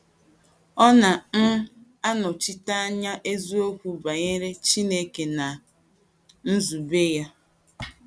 Ọ na um - anọchite anya eziokwu banyere Chineke na nzube ya.